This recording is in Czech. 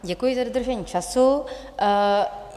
Děkuji za dodržení času.